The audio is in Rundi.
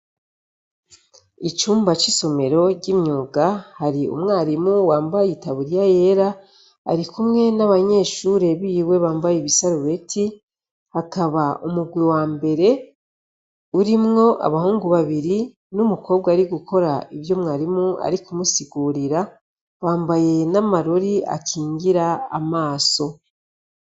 Icumba c'isomero ry'imyuga, hari umwarimu wambaye itaburiya yera, arikumwe n'abanyeshure biwe bambaye ibisarubeti. Hakaba umurwi wa mbere urimwo abahungu babiri n'umukobwa ari gukora ivyo umwarimu ari kumusigurira, bambaye n'amarori akingira amaso.